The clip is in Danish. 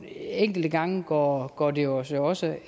enkelte gange går går det os også